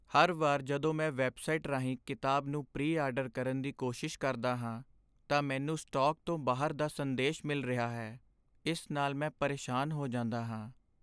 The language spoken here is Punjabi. ਹਰ ਵਾਰ ਜਦੋਂ ਮੈਂ ਵੈੱਬਸਾਈਟ ਰਾਹੀਂ ਕਿਤਾਬ ਨੂੰ ਪ੍ਰੀ ਆਰਡਰ ਕਰਨ ਦੀ ਕੋਸ਼ਿਸ਼ ਕਰਦਾ ਹਾਂ, ਤਾਂ ਮੈਨੂੰ ਸਟਾਕ ਤੋਂ ਬਾਹਰ ਦਾ ਸੰਦੇਸ਼ ਮਿਲ ਰਿਹਾ ਹੈ, ਇਸ ਨਾਲ ਮੈਂ ਪਰੇਸ਼ਾਨ ਹੋ ਜਾਂਦਾ ਹਾਂ